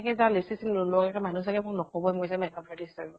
যাওঁ lipstick চিচ্তিক নলগোৱা কে, মানুহে চাগে নকবয়ে মই যে makeup artist হয় বুলি ।